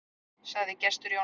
Sagði Gestur Jónsson.